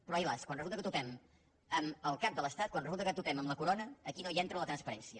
però ai las quan resulta que topem amb el cap de l’estat quan resulta que topem amb la corona aquí no hi entra la transparència